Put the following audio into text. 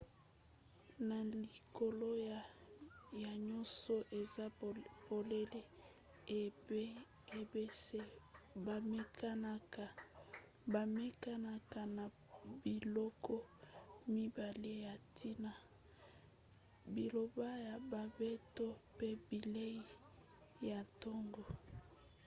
na likolo ya nyonso eza polele ete b&bs bamekanaka na biloko mibale ya ntina: bilamba ya bambeto pe bilei ya ntongo